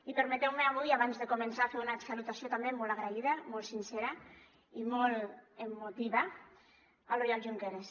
i permeteu me avui abans de començar fer una salutació també molt agraïda molt sincera i molt emotiva a l’oriol junqueras